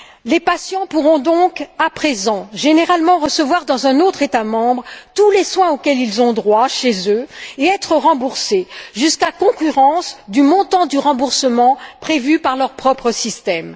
Les patients pourront donc à présent généralement recevoir dans un autre État membre tous les soins auxquels ils ont droit chez eux et être remboursés jusqu'à concurrence du montant du remboursement prévu par leur propre système.